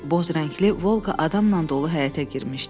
Boz rəngli Volqa adamla dolu həyətə girmişdi.